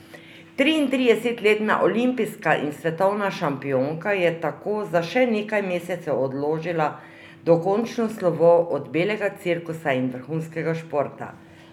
Triintridesetletna olimpijska in svetovna šampionka je tako za še nekaj mesecev odložila dokončno slovo od belega cirkusa in vrhunskega športa.